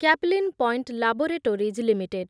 Caplin Point Laboratories limited